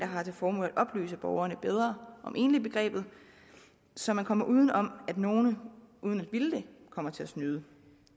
har til formål at oplyse borgerne bedre om enligbegrebet så man kommer uden om at nogle uden at ville det kommer til at snyde